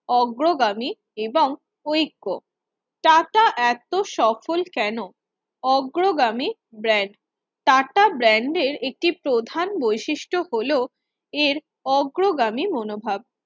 অগ্রগামী এবং ঐক্য টাটা এত সফল কেন অগ্রগামী ব্র্যান্ড টাটা brand এর একটি প্রধান বৈশিষ্ট্য হলো এর অগ্রগামী মনোভাব